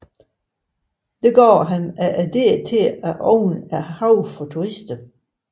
Dette gav ham idéen til at åbne haven for turister